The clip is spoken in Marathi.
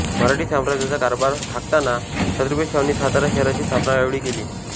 मराठी साम्राज्याचा कारभार हाकताना छ शाहूंनी सातारा शहराची स्थापना यावेळी केली